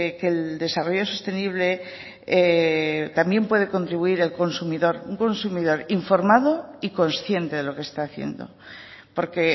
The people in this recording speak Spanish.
que el desarrollo sostenible también puede contribuir el consumidor un consumidor informado y consciente de lo que está haciendo porque